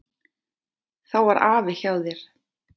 Þá var afi hjá þér.